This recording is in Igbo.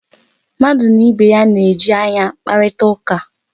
Mmadụ na ibe ya na-eji anya akparịta ụka.